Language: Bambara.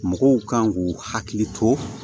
Mɔgɔw kan k'u hakili to